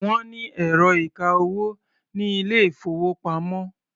Wọ́n ní ẹ̀rọ ìka-owó ní ilé-ìfowópamọ́.